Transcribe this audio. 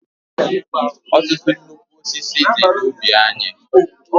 Ọtụtụ nnukwu osisi dị n'ubi anyị.